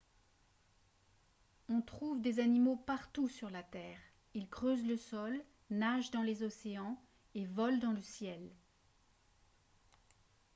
on trouve des animaux partout sur la terre ils creusent le sol nagent dans les océans et volent dans le ciel